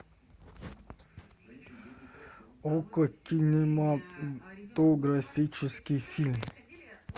окко кинематографический фильм